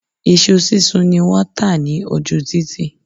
Iṣu sísun ni wọ́n tà ní ojú títì.